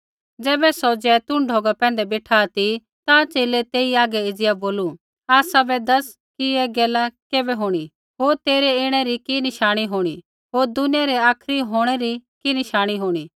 ज़ैबै सौ जैतून ढौगा पैंधै बेठा ती ता च़ेले तेई हागै एज़िया बोलू आसाबै दैस कि ऐ गैला कैबै होंणी होर तेरै ऐणै री कि नशाणी होंणी होर दुनियै रै आखरी होंणै री कि नशाणी होंणी